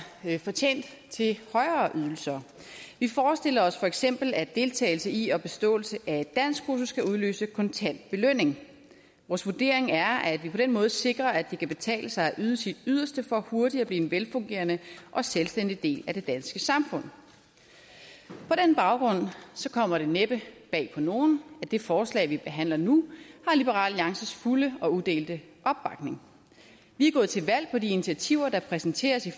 fortjent til højere ydelser vi forestiller os feks at deltagelse i og beståelse af et danskkursus skal udløse kontant belønning vores vurdering er at vi på den måde sikrer at det kan betale sig at yde sit yderste for hurtigt at blive en velfungerende og selvstændig del af det danske samfund på den baggrund kommer det næppe bag på nogen at det forslag vi behandler nu har liberal alliances fulde og udelte opbakning vi er gået til valg på de initiativer der præsenteres i